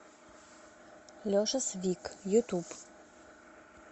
леша свик ютуб